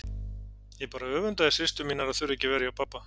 Ég bara öfundaði systur mínar að þurfa ekki að vera hjá pabba.